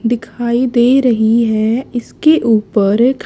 दिखाई दे रही है इसके ऊपर एक--